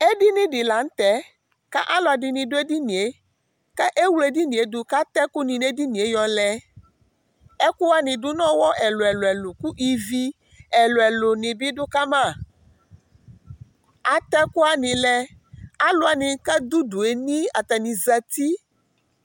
edini dɩ lanʊtɛ, kʊ alʊɛdɩ dʊ edini yɛ, kʊ ewle edini yɛ dʊ kʊ atɛ ɛkʊ nɩ nʊ edini yɛ yɔ lɛ, ɛkʊwanɩ dʊ n'ɔwɔ ɛlʊɛlʊ, kʊ ivi ɛlʊɛlʊ bɩ dʊ kama, atɛ ɛkʊwanɩ lɛ, alʊwanɩ kʊ adʊ udu yɛ nii zati